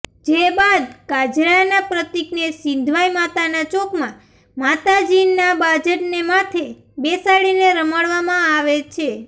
જે બાદ કાજરાના પ્રતિકને સિંધવાઈ માતાના ચોકમાં માતાજીના બાજટને માથે બેસાડી રમાડવામાં આવે છે